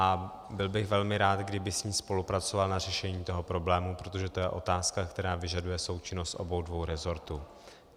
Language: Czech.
A byl bych velmi rád, kdyby s ní spolupracoval na řešení toho problému, protože to je otázka, která vyžaduje součinnost obou dvou resortů.